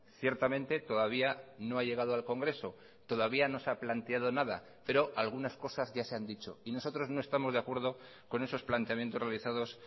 ciertamente todavía no ha llegado al congreso todavía no se ha planteado nada pero algunas cosas ya se han dicho y nosotros no estamos de acuerdo con esos planteamientos realizados